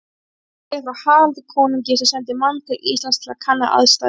Þar segir frá Haraldi konungi sem sendi mann til Íslands til að kanna aðstæður.